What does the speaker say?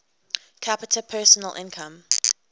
capita personal income